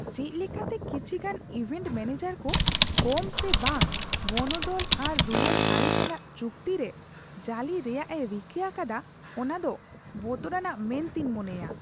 ᱪᱮᱫ ᱞᱮᱠᱟᱛᱮ ᱠᱤᱪᱷᱤᱜᱟᱱ ᱤᱵᱷᱮᱱᱴ ᱢᱚᱱᱮᱡᱟᱨ ᱠᱚ ᱠᱚᱢ ᱥᱮ ᱵᱟᱝ ᱵᱚᱱᱚᱫᱚᱞ ᱟᱨ ᱨᱩᱣᱟᱹᱲ ᱟᱹᱨᱤ ᱥᱟᱞᱟᱜ ᱪᱩᱠᱛᱤ ᱨᱮ ᱡᱟᱹᱞᱤ ᱨᱮᱭᱟᱜᱼᱮ ᱨᱤᱠᱟᱹ ᱟᱠᱟᱫᱟ ᱚᱱᱟ ᱫᱚ ᱵᱚᱛᱚᱨᱟᱱᱟᱜ ᱢᱮᱱᱛᱮᱧ ᱢᱚᱱᱮᱭᱟ ᱾